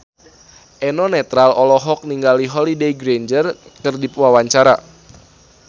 Eno Netral olohok ningali Holliday Grainger keur diwawancara